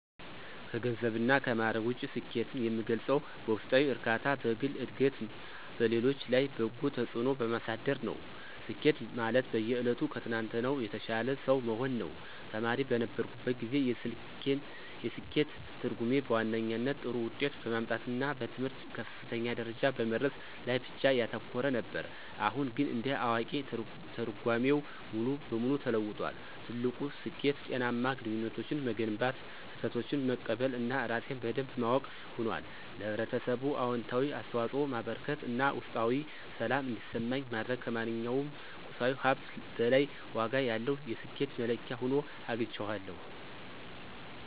ከገንዘብና ከማዕረግ ውጪ፣ ስኬትን የምገልጸው በውስጣዊ እርካታ፣ በግል ዕድገትና በሌሎች ላይ በጎ ተጽዕኖ በማሳደር ነው። ስኬት ማለት በየዕለቱ ከትናንትናው የተሻለ ሰው መሆን ነው። ተማሪ በነበርኩበት ጊዜ፣ የስኬት ትርጉሜ በዋነኛነት ጥሩ ውጤት በማምጣትና በትምህርት ከፍተኛ ደረጃ በመድረስ ላይ ብቻ ያተኮረ ነበር። አሁን ግን እንደ አዋቂ፣ ትርጓሜው ሙሉ በሙሉ ተለውጧል። ትልቁ ስኬት ጤናማ ግንኙነቶችን መገንባት፣ ስህተቶችን መቀበል እና ራሴን በደንብ ማወቅ ሆኗል። ለኅብረተሰብ አዎንታዊ አስተዋጽኦ ማበርከት እና ውስጣዊ ሰላም እንዲሰማኝ ማድረግ ከማንኛውም ቁሳዊ ሀብት በላይ ዋጋ ያለው የስኬት መለኪያ ሆኖ አግኝቼዋለሁ።